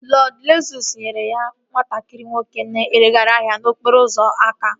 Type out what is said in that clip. Lọd Zeus nyere nwatakịrị nwoke na-ereghari ihe n'okporo ụzọ aka